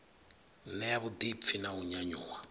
ṋea vhuḓipfi na u nyanyuwa